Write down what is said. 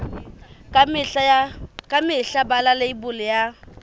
ka mehla bala leibole ya